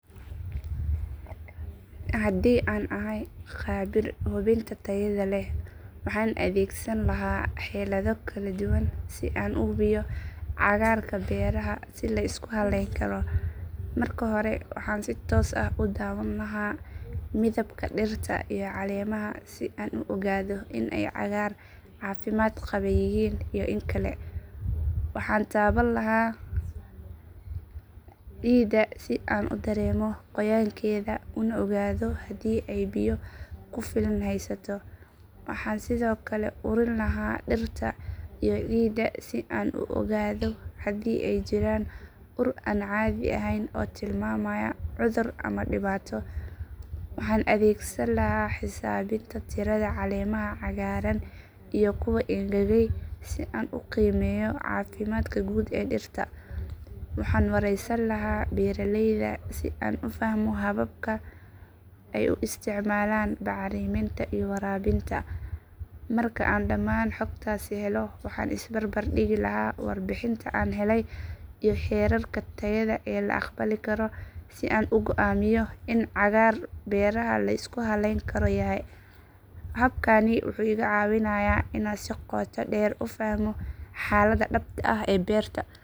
Haddii aan ahay khabiir hubinta tayada leh waxaan adeegsan lahaa xeelado kala duwan si aan u hubiyo cagaarka beeraha si la isku halayn karo. Marka hore waxaan si toos ah u daawan lahaa midabka dhirta iyo caleemaha si aan u ogaado in ay cagaar caafimaad qaba yihiin iyo in kale. Waxaan taaban lahaa ciidda si aan u dareemo qoyaan keeda una ogaado haddii ay biyo ku filan haysato. Waxaan sidoo kale urin lahaa dhirta iyo ciidda si aan u ogaado haddii ay jiraan ur aan caadi ahayn oo tilmaamaya cudur ama dhibaato. Waxaan adeegsan lahaa xisaabinta tirada caleemaha cagaaran iyo kuwa engegay si aan u qiimeeyo caafimaadka guud ee dhirta. Waxaan wareysan lahaa beeraleyda si aan u fahmo hababka ay u isticmaalaan bacriminta iyo waraabinta. Marka aan dhammaan xogtaasi helo waxaan is barbardhigi lahaa warbixinta aan helay iyo heerarka tayada ee la aqbali karo si aan u go'aamiyo in cagaar beeraha la isku halayn karo yahay. Habkani wuxuu iga caawinayaa inaan si qoto dheer u fahmo xaaladda dhabta ah ee beerta.